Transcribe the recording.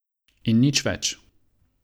In nič več.